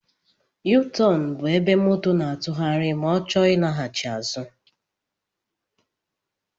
yuutọọnụ bụ ébé moto n'atughari ma ọ chọọ ilaghachi azụ.